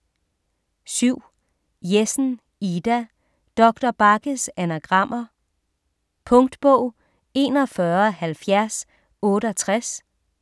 7. Jessen, Ida: Doktor Bagges anagrammer Punktbog 417068